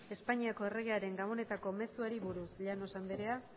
espainiako erregearen gabonetako mezuari buruz llanos andrea